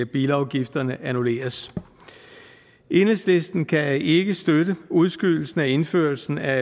bilafgifterne annulleres enhedslisten kan ikke støtte udskydelsen af indførelsen af